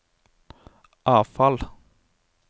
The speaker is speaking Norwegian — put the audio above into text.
avfall